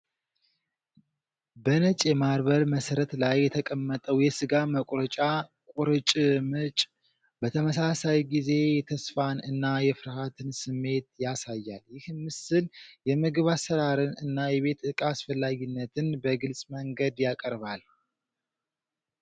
በነጭ የማርበል መሠረት ላይ የተቀመጠው የሥጋ መቁረጫ ቁርጭምጭ በተመሳሳይ ጊዜ የተስፋን እና የፍርሃት ስሜት ያሳያል። ይህ ምስል የምግብ አሰራርን እና የቤት ዕቃ አስፈላጊነትን በግልጽ መንገድ ያቀርባል።